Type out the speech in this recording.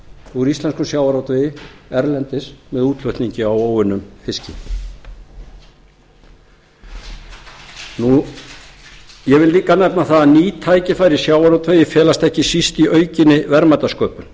úr íslenskum sjávarútvegi erlendis með útflutningi á óunnum fiski ég vil líka nefna að ný tækifæri í sjávarútvegi felast ekki síst í aukinni verðmætasköpun